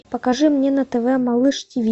покажи мне на тв малыш тиви